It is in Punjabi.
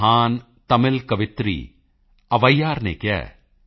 ਮਹਾਨ ਤਮਿਲ ਕਵਿਤਰੀ ਅਵੈਯਾਰ ਅਵਵਾਇਰ ਨੇ ਕਿਹਾ ਹੈ